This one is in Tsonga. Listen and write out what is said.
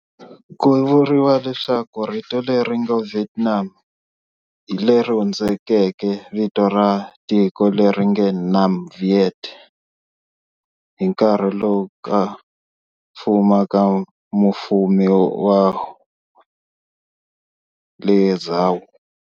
Ku vuriwa leswaku rito leri nge "Vietnam" i leri hundzukeke vito ra tiko leri "nge Nam Viet" hi nkarhi wa ku fuma ka Mufumi Wu wa le Zhao.